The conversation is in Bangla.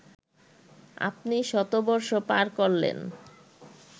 আপনি শতবর্ষ পার করলেন